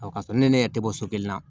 O ka sɔrɔ ne ne yɛrɛ tɛ bɔ so kelen na